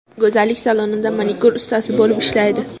Go‘zallik salonida manikyur ustasi bo‘lib ishlaydi.